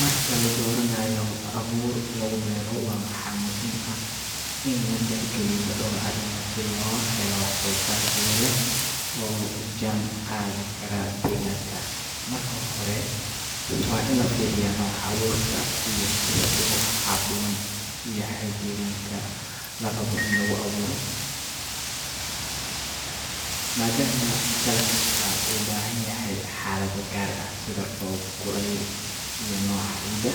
Marka la dooranayo abuur lagu beero, waxaa muhiim ah in la tixgeliyo dhowr arrimood si loo helo wax-soo-saar tayo leh oo la jaan qaadi kara deegaanka. Marka hore, waa in la fiiriyaa nooca abuurka iyo sida uu ugu habboon yahay deegaanka la rabo in lagu beero, maadaama dalag kastaa u baahan yahay xaalado gaar ah sida roob, kulayl, iyo nooca ciidda.